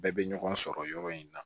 Bɛɛ bɛ ɲɔgɔn sɔrɔ yɔrɔ in na